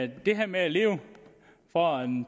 det der med at leve for